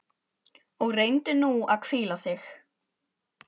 Og reyndu nú að hvíla þig.